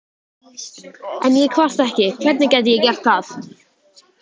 En ég kvarta ekki, hvernig gæti ég gert það?